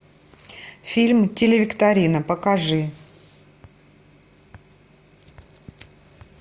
фильм телевикторина покажи